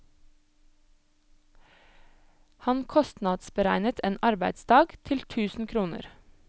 Han kostnadsberegnet en arbeidsdag til tusen kroner.